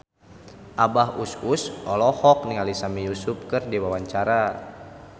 Abah Us Us olohok ningali Sami Yusuf keur diwawancara